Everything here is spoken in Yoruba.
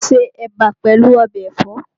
Ó se Ẹ̀bà pẹ̀lú ọbẹ̀ ẹ̀fọ́